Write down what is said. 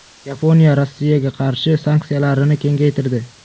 Yaponiya Rossiyaga qarshi sanksiyalarini kengaytirdi.